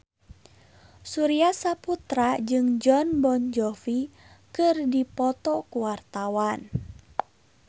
Surya Saputra jeung Jon Bon Jovi keur dipoto ku wartawan